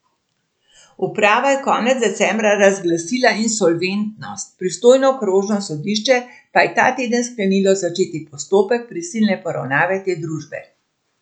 Uprava je konec decembra razglasila insolventnost, pristojno okrožno sodišče pa je ta teden sklenilo začeti postopek prisilne poravnave te družbe.